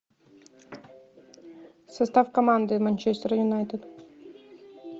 состав команды манчестер юнайтед